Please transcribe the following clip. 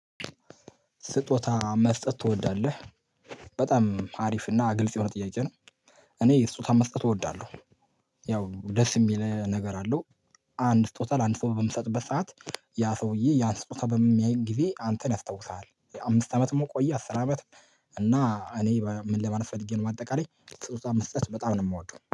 ስጦታ መስጠት ትወዳለህ? በጣም አሪፍ እና ግልጽ የሆነ ጥያቄ ነው እኔ ስጦታ መስጠት እወዳለሁ ያው ደስ የሚል ነገር አለው። አንድ ስጦታ ለአንድ ሰው በምሰጥበት ሰዓት ያ ሰውዬ ያን ስጦታ በሚያይ ጊዜ አንተን ያስታውሳል። አምስት አመት ቆየ አስር አመት እና እኔ ምን ለማለት ፈልጌ ነው ባጠቃለይ ስጦታ መስጠት በጣም ነው የምወደው።